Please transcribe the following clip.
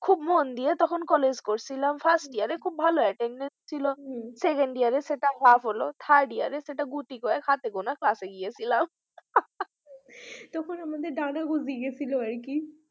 খুব মন দিয়ে college করেছিলাম first year, second year সেটা half হল third year হাতে গোনা class গেছিলাম তখন আমাদের ডানা গজিয়ে গেছিল আর কি।